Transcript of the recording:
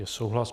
Je souhlas.